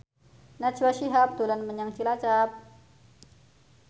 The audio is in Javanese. Najwa Shihab dolan menyang Cilacap